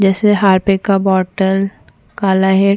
जैसे हार्पिक का बोतल काला हिट --